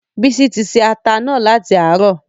Bísí tí ṣẹ̀ àtà náà latí àrọ.